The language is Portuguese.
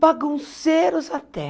Bagunceiros até.